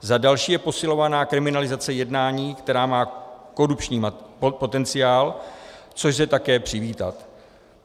Za další je posilována kriminalizace jednání, která má korupční potenciál, což lze také přivítat.